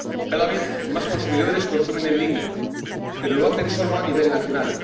Cada vez más consumidores consumen en línea, pero lo hacen sólo a nivel nacional